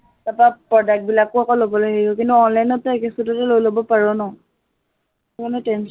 তাৰপৰা product বিলাকো আক লবলৈ হেৰি হয়, কিন্তু online ত তই একোচোটে লৈ লব পাৰ ন, কোনো tension